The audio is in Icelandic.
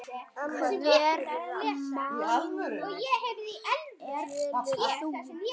Hverra manna ert þú?